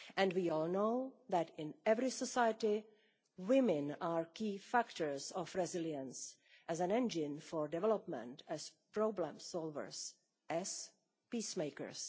We all know that, in every society, women are key factors of resilience as an engine for development, as problem solvers and as peacemakers.